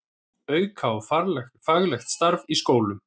Auka á faglegt starf í skólum